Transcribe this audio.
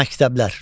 Məktəblər.